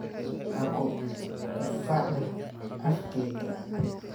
Ha ku qufacin afkayga.